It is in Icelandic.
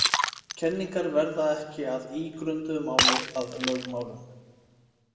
Kenningar verða ekki að ígrunduðu máli að lögmálum.